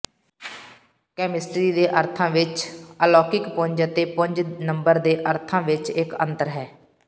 chemistry ਦੇ ਅਰਥਾਂ ਵਿਚ ਅਲੌਕਿਕ ਪੁੰਜ ਅਤੇ ਪੁੰਜ ਨੰਬਰ ਦੇ ਅਰਥਾਂ ਵਿਚ ਇਕ ਅੰਤਰ ਹੈ